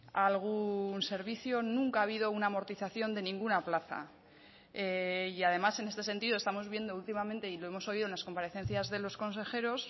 algún servicio nunca ha habido una amortización de ninguna plaza y además en este sentido estamos viendo últimamente y lo hemos oído en las comparecencias de los consejeros